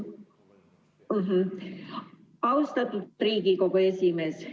Austatud Riigikogu esimees!